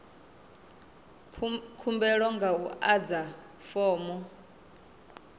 khumbelo nga u adza fomo